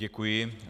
Děkuji.